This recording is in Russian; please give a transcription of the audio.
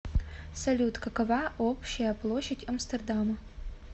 салют какова общая площадь амстердама